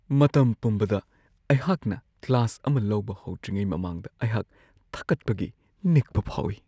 ꯃꯇꯝ ꯄꯨꯝꯕꯗ ꯑꯩꯍꯥꯛꯅ ꯀ꯭ꯂꯥꯁ ꯑꯃ ꯂꯧꯕ ꯍꯧꯗ꯭ꯔꯤꯉꯩ ꯃꯃꯥꯡꯗ ꯑꯩꯍꯥꯛ ꯊꯀꯠꯄꯒꯤ ꯅꯤꯛꯄ ꯐꯥꯎꯋꯤ ꯫